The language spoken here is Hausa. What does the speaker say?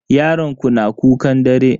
Yaron ku na kukan dare?